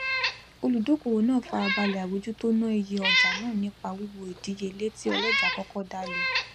olùdókòwò náà farabalẹ àbójútó ná iye ọjà náà nípa wiwo ìdíyelé tí ọlọjà kọkọ dá le